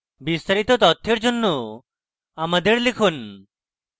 বিস্তারিত তথ্যের জন্য আমাদের কাছে লিখুন